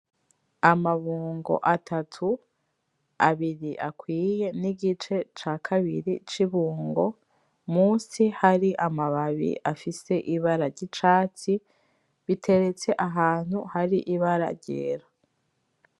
Amabungo atatu, abiri akwiye n'igice ca kabiri c'ibungo, musi hari amababi afise ibara ry'icatsi, biteretse ahantu hari ibara ryera.